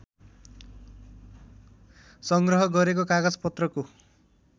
सङ्ग्रह गरेको कागजपत्रको